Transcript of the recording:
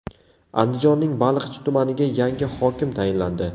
Andijonning Baliqchi tumaniga yangi hokim tayinlandi .